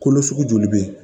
Kolo sugu joli bɛ yen